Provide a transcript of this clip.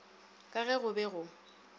ka ge go be go